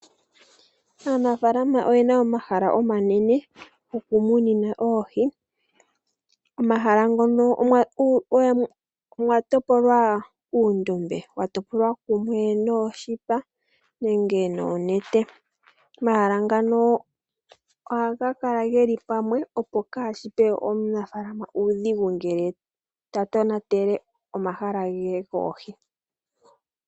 Aanafalama oyena omahala omanene goku munina oohi. Omahala ngono mwatopolwa uundombe watopolwa kumwe noshipa nenge nonete, omahala ngano ohaga kala geli pamwe opo kashipe omunafalama uudhigu ngele ta tonatele omahala ge goohi.